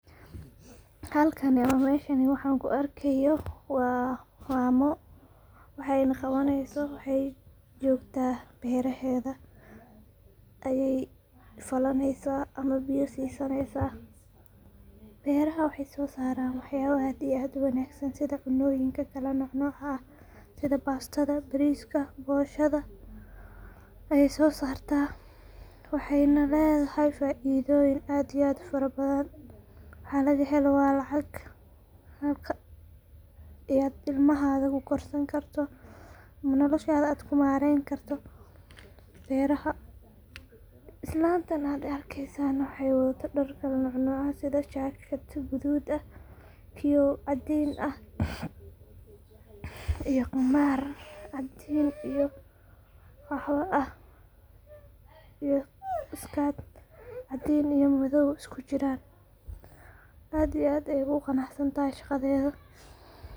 Halkani oo meshan waxan kuu arkayo waa mamo, waxay nah qabaneyso, waxay jogta beraheda ayay falaneysa ama biyo sisaneysa beraha waxay soaran waxyabo aad iyo aad uwanagsan sidha cunoyinka kala nocnoc ah, sidha bastada, bariska, boshada, ayay sosarta, waxay nah ledahay faidoyin aad iyo aad ufarabadhan, waxa laga helo waa lacag ayad ilmahaga kukorsani karto, ama noloshada kumareni karto beraha, islantan ad arkeysan waxay wadhata daar kalanocnoc ah, sidha jacket gadud ah, kiyo caadin ah, iyo qamar caadin iyo gaxwo ah, iyo iskat cadin iyo madow iskujiran, aad iyo aad ayay ogu qanacsantahay shaqadeda.